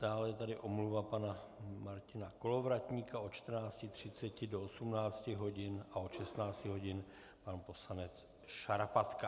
Dále je tady omluva pana Martina Kolovratníka od 14.30 do 18 hodin, a od 16 hodin pan poslanec Šarapatka.